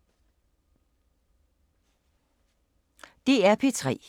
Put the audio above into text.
DR P3